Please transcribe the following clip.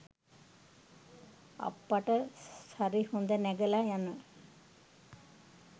අප්පට සරි හොඳ නැගලා යන